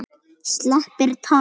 Sleppir takinu.